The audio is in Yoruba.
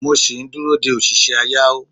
mo sì ń dúró de òṣìṣẹ́ ayáeó